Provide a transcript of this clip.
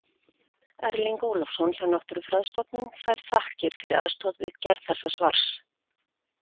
Erling Ólafsson hjá Náttúrufræðistofnun fær þakkir fyrir aðstoð við gerð þessa svars.